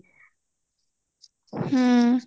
ହ୍ମ